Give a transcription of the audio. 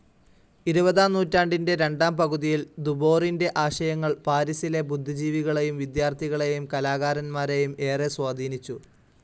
ഇരുപതാം നൂറ്റാണ്ടിന്റെ രണ്ടാം പകുതിയിൽ ദുബോറിന്റെ ആശയങ്ങൾ പാരിസിലെ ബുദ്ധിജീവികളേയും വിദ്യാർഥികളേയും കലാകാരന്മാരേയും ഏറെ സ്വാധീനിച്ചു.